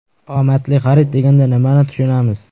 Omadli xarid deganda nimani tushunamiz?